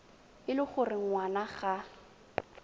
e le gore ngwana ga